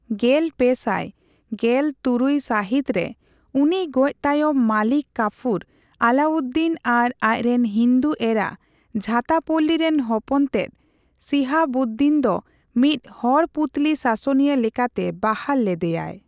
ᱜᱮᱞᱯᱮᱥᱟᱭ ᱜᱮᱞᱛᱩᱨᱩᱭᱥᱟᱹᱦᱤᱛ ᱨᱮ ᱩᱱᱤ ᱜᱚᱡᱽ ᱛᱟᱭᱚᱢ ᱢᱟᱞᱤᱠ ᱠᱟᱯᱷᱩᱨ, ᱟᱞᱟᱣᱩᱫᱽᱫᱤᱱ ᱟᱨ ᱟᱡ ᱨᱮᱱ ᱦᱤᱱᱫᱩ ᱮᱨᱟ ᱡᱷᱟᱛᱟᱯᱚᱞᱞᱤ ᱨᱮᱱ ᱦᱚᱯᱚᱱ ᱛᱮᱫ, ᱥᱤᱦᱟᱵᱩᱫᱽᱫᱤᱱ ᱫᱚ ᱢᱤᱫ ᱦᱚᱲ ᱯᱩᱛᱛᱚᱞᱤ ᱥᱟᱥᱚᱱᱤᱭᱟᱹ ᱞᱮᱠᱟᱛᱮ ᱵᱟᱦᱟᱞ ᱞᱮᱫᱮᱭᱟᱭ ᱾